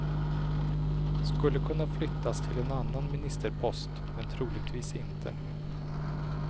Skulle kunna flyttas till en annan ministerpost, men troligtvis inte.